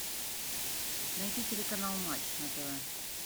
найти телеканал матч на тв